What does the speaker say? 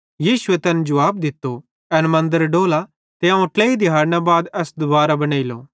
यीशुए तैन जुवाब दित्तो एस मन्दरे डोला ते अवं ट्लेई दिहैड़न मां एस दुबारो बनेइलो